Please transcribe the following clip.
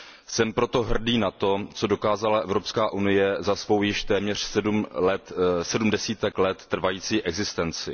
Jsem proto hrdý na to, co dokázala Evropská unie, za svou již téměř sedm desítek let trvající existenci.